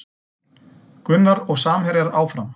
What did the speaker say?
Gunnar og samherjar áfram